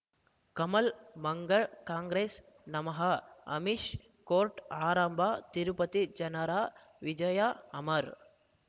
ಕಮಲ್ ಮಂಗಳ್ ಕಾಂಗ್ರೆಸ್ ನಮಃ ಅಮಿಷ್ ಕೋರ್ಟ್ ಆರಂಭ ತಿರುಪತಿ ಜನರ ವಿಜಯ ಅಮರ್